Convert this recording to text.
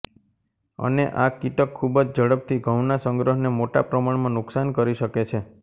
અને આ કીટક ખુબ જ ઝડપથી ઘઉંના સંગ્રહને મોટા પ્રમાણમાં નુકશાન કરી શકે છે